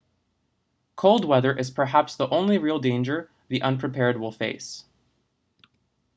cold weather is perhaps the only real danger the unprepared will face